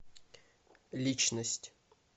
личность